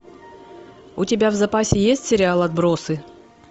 у тебя в запасе есть сериал отбросы